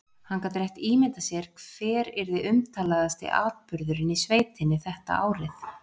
Hann gat rétt ímyndað sér hver yrði umtalaðasti atburðurinn í sveitinni þetta árið.